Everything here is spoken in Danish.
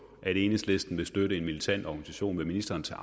at enhedslisten vil støtte en militant organisation vil ministeren så